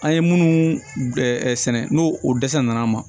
An ye minnu sɛnɛ n'o o dɛsɛra nana an ma